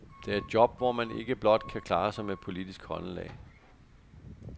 Det er et job, hvor man ikke blot kan klare sig med politisk håndelag.